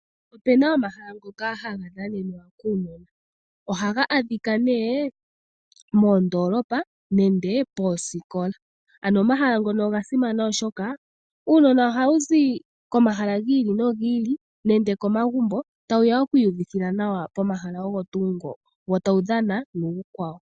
Opena omahala ngoka haga dhanenwa kuunona, ohaga adhika nee moondolopa nenge poosikola. Ano omahala ngoka oga simana oshoka uunona oha wu zi komahala gi ili nogi ili nenge komagumbo tawu ya oku yi uvithila nawa pomahala ogo tuu ngoka, wo tawu dhana nuukwawo.